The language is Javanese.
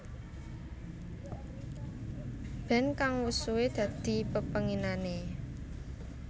Band kang wus suwe dadi pepenginané